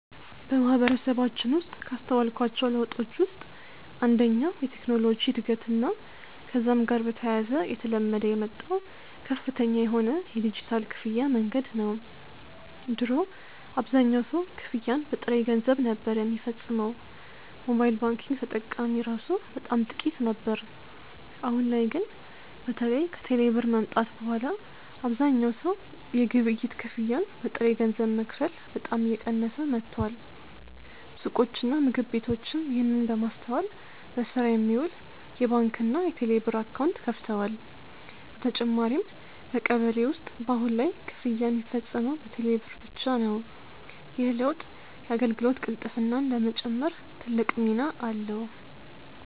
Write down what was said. በማህበረሰባችን ውስጥ ካስተዋልኳቸው ለውጦች ውስጥ አንደኛው የቴክኖሎጂ እድገትና ከዛም ጋር በተያያዘ እየተለመደ የመጣው ከፍተኛ የሆነ የዲጂታል ክፍያ መንገድ ነው። ድሮ አብዛኛው ሰው ክፍያን በጥሬ ገንዘብ ነበር ሚፈጽመው፤ ሞባይል ባንኪንግ ተጠቃሚ እራሱ በጣም ጥቂት ነበር። አሁን ላይ ግን በተለይ ከቴሌ ብር መምጣት በኋላ አብዛኛው ሰው የግብይት ክፍያን በጥሬ ገንዘብ መክፈል በጣም እየቀነሰ መጥቷል። ሱቆችና ምግብ ቤቶችም ይህንን በማስተዋል ለስራ የሚውል የባንክና የቴሌብር አካውንት ከፍተዋል። በተጨማሪም በቀበሌ ውስጥ በአሁን ላይ ክፍያ ሚፈጸመው በቴሌ ብር ብቻ ነው። ይህ ለውጥ የአገልግሎት ቅልጥፍናን ለመጨመር ትልቅ ሚና አለው።